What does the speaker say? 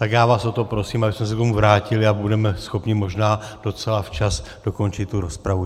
Tak já vás o to prosím, abyste se k tomu vrátili, a budeme schopni možná docela včas dokončit tu rozpravu.